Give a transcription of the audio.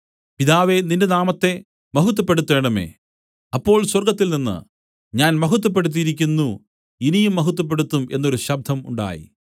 പിതാവേ നിന്റെ നാമത്തെ മഹത്വപ്പെടുത്തേണമേ അപ്പോൾ സ്വർഗ്ഗത്തിൽനിന്ന് ഞാൻ മഹത്വപ്പെടുത്തിയിരിക്കുന്നു ഇനിയും മഹത്വപ്പെടുത്തും എന്നൊരു ശബ്ദം ഉണ്ടായി